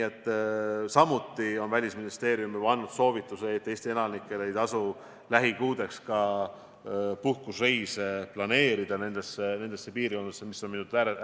Samuti on Välisministeerium juba andnud soovituse, et Eesti elanikel ei tasu lähikuudeks nendesse piirkondadesse ka puhkusereise planeerida.